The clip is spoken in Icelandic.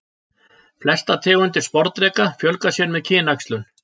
Flestar tegundir sporðdreka fjölga sér með kynæxlun.